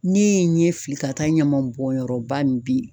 Ne ye n ɲɛ fili ka taa ɲaman bɔnyɔrɔ ba min be yen.